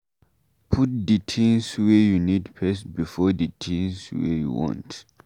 put di things wey you need first before di things wey you want